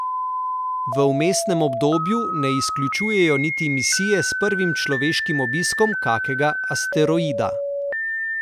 V vmesnem obdobju ne izključujejo niti misije s prvim človeškim obiskom kakega asteroida.